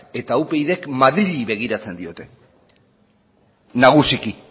eta upydk madrili begiratzen diote nagusiki